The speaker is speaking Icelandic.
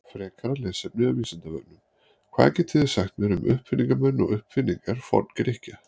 Frekara lesefni af Vísindavefnum: Hvað getið þið sagt mér um uppfinningamenn og uppfinningar Forngrikkja?